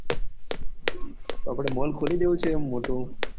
તો આપડે mall દેવો છે મોટો